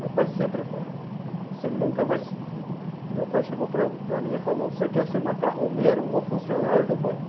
Meu pai sempre falou, você nunca vai, meu pai chegou para para mim e falou, você quer ser macarroneiro ou funcionário do banco?